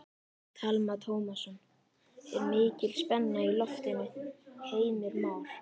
Telma Tómasson: Er mikil spenna í loftinu Heimir Már?